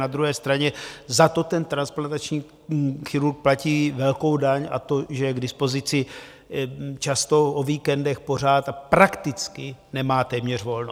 Na druhé straně za to ten transplantační chirurg platí velkou daň, a to, že je k dispozici často o víkendech, pořád, a prakticky nemá téměř volno.